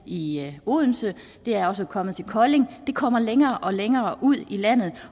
i odense og det er også kommet til kolding det kommer længere og længere ud i landet